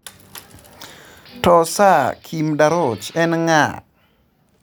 To Sir Kim Darroch en ng'aa?